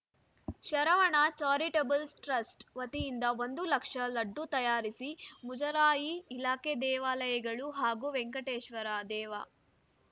Sharavana charitable trust ವತಿಯಿಂದ ಒಂದು ಲಕ್ಷ ಲಡ್ಡು ತಯಾರಿಸಿ ಮುಜರಾಯಿ ಇಲಾಖೆ ದೇವಾಲಯಗಳು ಹಾಗೂ ವೆಂಕಟೇಶ್ವರ ದೇವಾಲಯಗಳಿಗೆ ವಿತರಿಸಲಾಯಿತು